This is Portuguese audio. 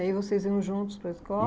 E aí vocês iam juntos para a